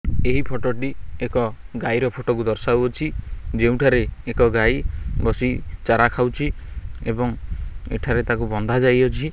ଏହି ଫଟ ଟି ଏକ ଗାଈର ଫଟ କୁ ଦର୍ଶାଉଅଛି ଯେଉଁଠାରେ ଏକ ଗାଈ ବସି ଚାରା ଖାଉଛି ଏବଂ ଏଠାରେ ତାକୁ ବନ୍ଧା ଯାଇଅଛି।